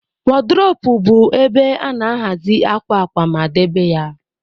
A wardropu bu ebe ana-ahazi akwa akwa ma debe ya.